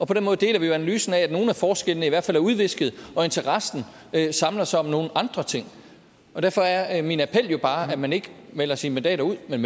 den måde deler vi jo analysen af at nogle af forskellene i hvert fald er udvisket og interessen samler sig om nogle andre ting og derfor er min appel jo bare at man ikke melder sine mandater ud men